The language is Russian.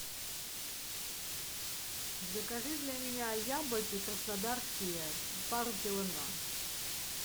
закажи для меня яблоки краснодарские пару килограмм